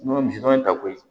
N'o ye misiwa ta koyi